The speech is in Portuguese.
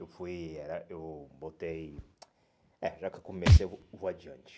Eu fui... Eh eu botei... É, já que eu comecei, eu vou vou adiante.